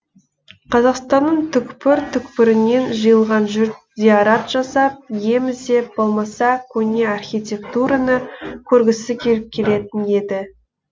қазақстанның түкпір түкпірінен жиылған жұрт зиарат жасап ем іздеп болмаса көне архитектураны көргісі келіп келетін еді